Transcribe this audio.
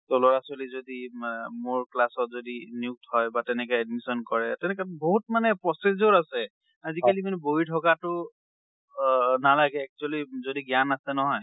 টো লৰা ছোৱালী যদি মে মোৰ class অত যদি নিয়ুক্ত হয় বা তেনেকে admission কৰে, তেনেকে বহুত মানে procedure আছে। আজিকালি মানে বহি থকাটো আ নালাগে, actually যদি জ্ঞান আছে নহয়।